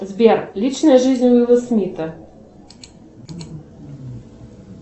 сбер личная жизнь уилла смита